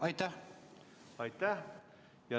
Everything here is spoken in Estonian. Aitäh!